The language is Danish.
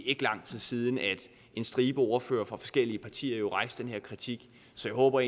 ikke lang tid siden at en stribe ordførere fra forskellige partier rejste den her kritik så jeg håber